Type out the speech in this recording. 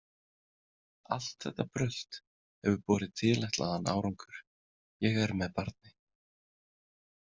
Allt þetta brölt hefur borið tilætlaðan árangur, ég er með barni.